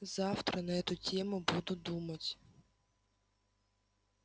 завтра на эту тему буду думать